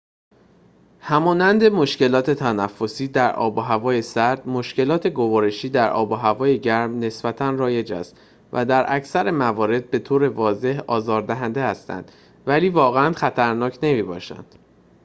همانند مشکلات تنفسی در آب‌وهوای سرد مشکلات گوارشی در آب‌وهوای گرم نسبتاً رایج است و در اکثر موارد بطور واضح آزار دهنده هستند ولی واقعاً خطرناک نمی‌باشند